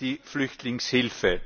die Flüchtlingshilfe involviert waren.